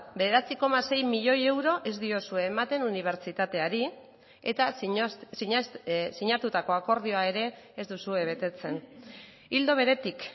bederatzi koma sei milioi euro ez diozue ematen unibertsitateari eta sinatutako akordioa ere ez duzue betetzen ildo beretik